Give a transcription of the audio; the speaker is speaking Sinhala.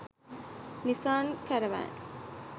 nisan caravan